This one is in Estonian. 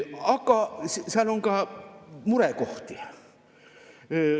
Aga seal on ka murekohti.